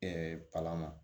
palan na